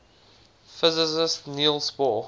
physicist niels bohr